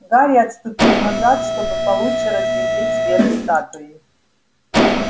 гарри отступил назад чтобы получше разглядеть верх статуи